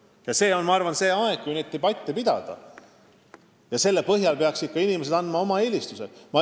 Praegu on minu arvates õige aeg selliste debattide pidamiseks ja nende põhjal peaksid inimesed andma ka oma eelistuse.